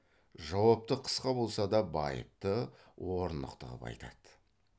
жауапты қысқа болса да байыпты орнықты ғып айтады